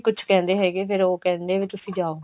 ਕੁੱਝ ਕਹਿੰਦੇ ਹੈਗੇ ਫਿਰ ਉਹ ਕਹਿੰਦੇ ਵੀ ਤੁਸੀਂ ਜਾਓ